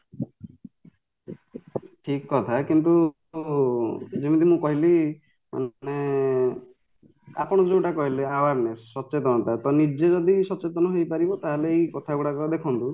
ଠିକକଥା କିନ୍ତୁ ଉ ଯେମିତି ମୁଁ କହିଲି ଉଁ ମାନେ ଆପଣ ଯୋଉଟା କହିଲେ awareness ସଚେତନେତା ତ ନିଜେ ଯଦି ସଚେତନ ହେଇପାରିବ ତାହାଲେ ଏଇକଥା ଗୁଡାକ ଦେଖନ୍ତୁ